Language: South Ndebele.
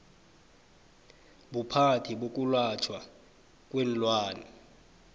buphathi bokwelatjhwa kweenlwana